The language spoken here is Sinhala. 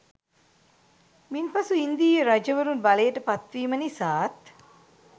මින් පසු ඉන්දීය රජවරුන් බලයට පත්වීම නිසාත්